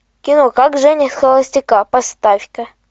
кино как женить холостяка поставь ка